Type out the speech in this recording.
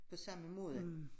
På samme måde